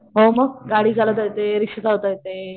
हो मग गाडी चालवता येते रिक्षा चालवता येते